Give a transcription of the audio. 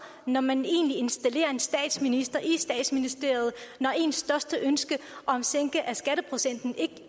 når man egentlig installerer en statsminister i statsministeriet og ens største ønske om sænkelse af skatteprocenten ikke